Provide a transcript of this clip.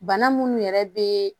Bana munnu yɛrɛ be